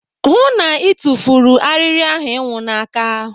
Hụụ na Ị tufuru arịrị ahụ ịnwụ n'aka.